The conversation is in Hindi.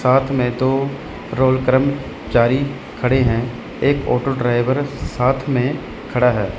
साथ में दो रोल कर्मचारी खड़े हैं एक ऑटो ड्राइवर साथ में खड़ा है।